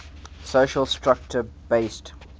social structure based